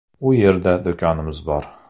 U yerda do‘konimiz bor.